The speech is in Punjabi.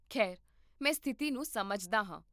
ਖੈਰ, ਮੈਂ ਸਥਿਤੀ ਨੂੰ ਸਮਝਦਾ ਹਾਂ